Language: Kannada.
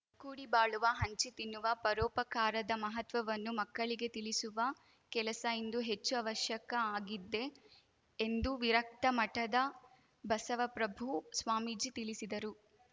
ಕೂಡಿ ಬಾಳುವ ಹಂಚಿ ತಿನ್ನುವ ಪರೋಪಕಾರದ ಮಹತ್ವವನ್ನು ಮಕ್ಕಳಿಗೆ ತಿಳಿಸುವ ಕೆಲಸ ಇಂದು ಹೆಚ್ಚು ಆವಶ್ಯಕ ಆಗಿದೆ ಎಂದು ವಿರಕ್ತ ಮಠದ ಬಸವಪ್ರಭು ಸ್ವಾಮೀಜಿ ತಿಳಿಸಿದರು